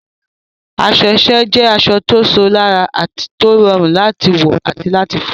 Aṣọ iṣẹ́ jẹ́ aṣọ tó ṣò lára, tó rọrùn láti wọ̀ àti láti fọ̀.